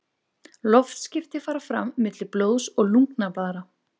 Loftskipti fara fram milli blóðs og lungnablaðra.